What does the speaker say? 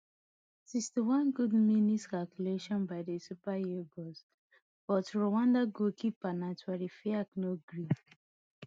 sixty-one good mintes calculation by di super eagles but rwanda goalkeeper ntwari fiacre no gree